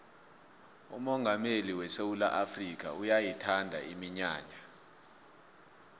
umongameli wesewula afrikha uyayithanda iminyanya